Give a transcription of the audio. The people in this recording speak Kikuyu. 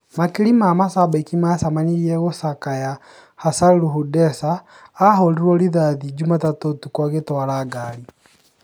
Makirĩ ma mashabiki macemanirĩe gũcakaya Hachalu Hundessa ,ahũrirwe rithathi Jumatatũ ũtuko agwĩtwara ngari